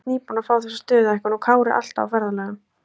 Bryndís nýbúin að fá þessa stöðuhækkun og Kári alltaf á ferðalögum.